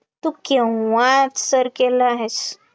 तू केव्हाच सर केलं आहेस